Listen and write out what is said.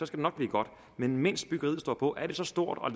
det nok blive godt men imens byggeriet står på er det så stort og